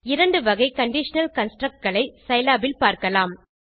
இரண்டு வகை கண்டிஷனல் constructகளை சிலாப் இல் பார்க்கலாம்